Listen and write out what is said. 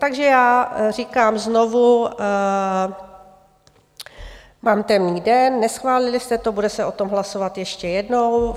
Takže já říkám znovu, mám temný den, neschválili jste to, bude se o tom hlasovat ještě jednou.